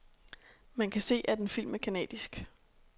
Man kan se, at en film er canadisk.